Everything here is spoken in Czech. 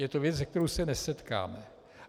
Je to věc, se kterou se nesetkáme.